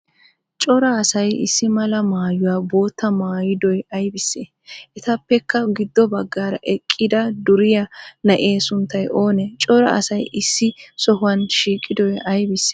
Cora asay issi maalaa maayuwan bottaa maayidoy aybissee? Etappekka giddo baggara eqqada duriyaa naa7ee sunttay oonee? Cora asay issi sohuwa shiiqidoy aybissee?